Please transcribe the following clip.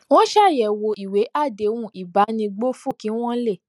wón ṣàyèwò ìwé àdéhùn ìbánigbófò kí wón lè